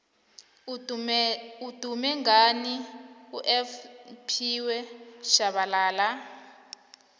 udume ngani ufphiwe shabalala